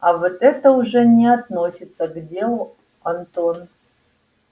а вот это уже не относится к делу антон